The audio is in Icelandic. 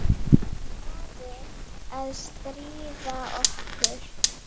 Stuðlað að friði